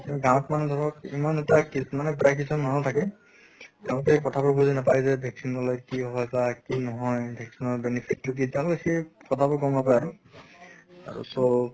কিন্তু গাঁৱত মানে ধৰক ইমান এটা মানে প্ৰায় কিছুমান মানুহ থাকে তেওঁলোকে কথা বোৰ বুজি নাপায় যে vaccine লʼলে কি হয় বা কি নহয়, vaccine ৰ benefit টো কি তেওঁলোকে কথা বোৰ গম নাপায় আৰু। আৰু so